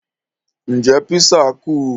Ǹjẹ́ písà kù?